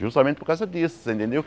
Justamente por causa disso, você entendeu?